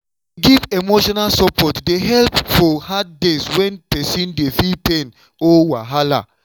to dey give emotional support dey help for hard days when person dey feel pain or wahala.